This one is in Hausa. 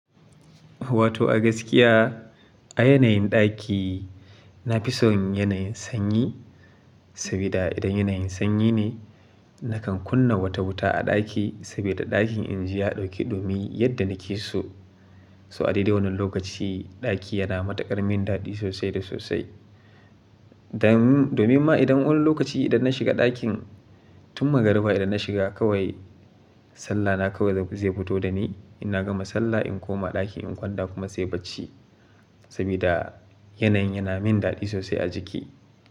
Wato a gaskiya a yanayin ɗaki, na fi son yanayin sanyi. Saboda idan yanayin sanyi ne nakan kunna wata wuta a ɗaki saboda ɗakin in ji ya ɗauki ɗumi yadda nake so. So a dai dai wannan lokaci ɗaki yana mata ƙarmin daɗi sosai da sosai. Dan domin ma idan wani lokaci idan na shiga ɗakin, tun magarba idan na shiga kawai sallah na kawai zai fito da ni. Inna gama sallah in koma ɗaki in kwanta kuma sai bacci. Saboda yanayin yana min daɗi sosai a jiki.